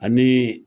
Ani